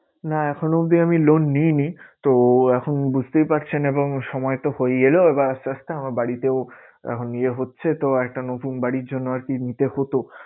না এখনো অবধি আমি loan নিইনি। তো এখন বুঝতেই পারছেন এবং সময় তো এলো এবার আস্তে আস্তে আমার বাড়িতেও এখন ইয়ে হচ্ছে তো আর একটা নতুন বাড়ির জন্য আরকি নিতে হতো।